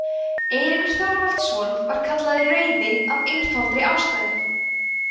eiríkur þorvaldsson var kallaður rauði af einfaldri ástæðu